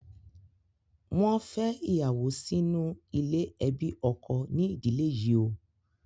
Wọn fè ìyàwó sínú ilé ẹbí ọkọ ní ìdílè yíò